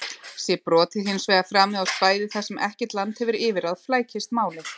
Sé brotið hins vegar framið á svæði þar sem ekkert land hefur yfirráð flækist málið.